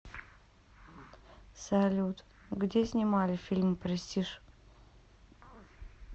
салют где снимали фильм престиж